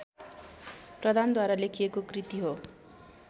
प्रधानद्वारा लेखिएको कृति हो